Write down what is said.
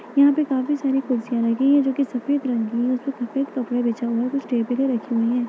यहाँ पे काफी सारी कुर्सियाँ रखी हैं जो कि सफेद रंग की हैं उसपे सफेद कपड़ा बिछा हुआ है कुछ टेबलें रखी हुई हैं।